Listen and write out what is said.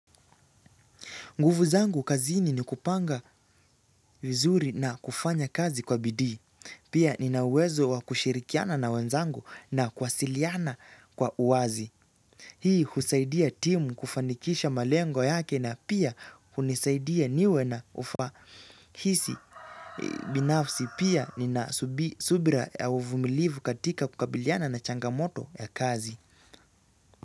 Nguvu zangu kazini ni kupanga vizuri na kufanya kazi kwa bidii. Pia ninauwezo wa kushirikiana na wenzangu na kuwasiliana kwa uwazi. Hii husaidia timu kufanikisha malengo yake na pia kunisaidia niwe na ufahisi binafsi. Pia nina subira ya uvumilivu katika kukabiliana na changamoto ya kazi.